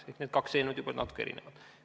Nii et need kaks eelnõu on natuke erinevad.